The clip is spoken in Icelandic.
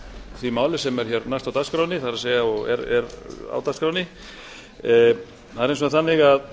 því máli sem er hér næst á dagskránni að er hins vegar þannig að